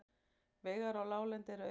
Vegir á láglendi eru auðir